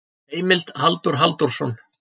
Heimild: Halldór Halldórsson.